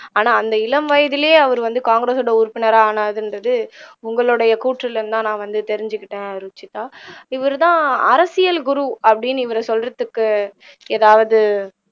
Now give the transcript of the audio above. ஆனா அந்த இளம் வயதிலேயே அவர் வந்து காங்கிரசோட உறுப்பினரா ஆனாருங்கிறது உங்களுடைய கூற்றிலிருந்து தான் நான் தெரிஞ்சுகிட்டேன் ருஷிதா இவர்தான் அரசியல் குரு அப்படின்னு இவரை சொல்றதுக்கு எதாவது